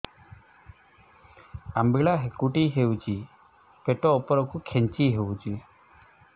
ଅମ୍ବିଳା ହେକୁଟୀ ହେଉଛି ପେଟ ଉପରକୁ ଖେଞ୍ଚି ହଉଚି